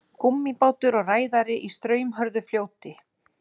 Gúmmíbátur og ræðari í straumhörðu fljóti.